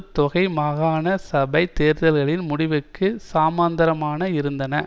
தொகை மாகாண சபை தேர்தல்களின் முடிவுக்கு சமாந்தரமாக இருந்தன